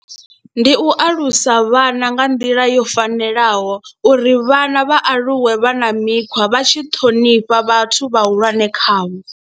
Ndi u alusa vhana nga nḓila yo fanelaho uri vhana vha aluwe vha na mikhwa vha tshi ṱhonifha vhathu vhahulwane khavho.